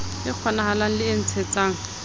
e kgonahalang le e ntshetsang